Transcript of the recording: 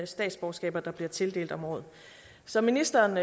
statsborgerskaber der bliver tildelt om året som ministeren